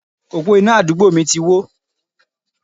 Òpó iná àdúgbò mi ti wó.